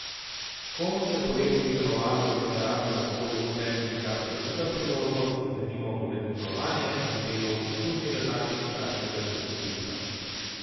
Komu se po letih delovanja v literarnem okolju odpre tudi kakšna druga priložnost, denimo urednikovanje ali delo v kulturni redakciji kakšnega časopisa.